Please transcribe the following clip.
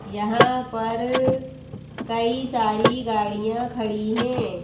यहां पर कई सारी गाड़ियां खड़ी है।